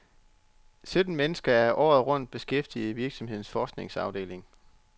Sytten mennesker er året rundt beskæftiget i virksomhedens forskningsafdeling.